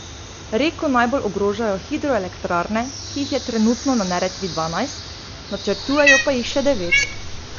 Reko najbolj ogrožajo hidroelektrarne, ki jih je trenutno na Neretvi dvanajst, načrtujejo pa jih še devet.